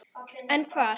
En hvar?